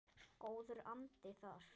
Góður andi þar.